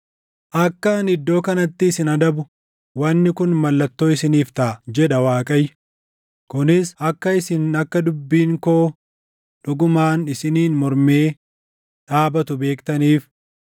“ ‘Akka ani iddoo kanatti isin adabu wanni kun mallattoo isiniif taʼa;’ jedha Waaqayyo; ‘kunis akka isin akka dubbiin koo dhugumaan isiniin mormee dhaabatu beektaniif.’